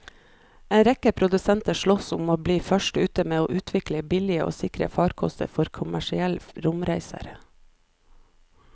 En rekke produsenter sloss om å bli først ute med å utvikle billige og sikre farkoster for kommersielle romreiser.